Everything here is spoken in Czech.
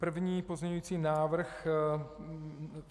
První pozměňující návrh.